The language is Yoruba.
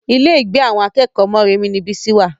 Ilé ìgbé àwọn akẹ́kọ̀ọ́ Moremi ni Bísí wà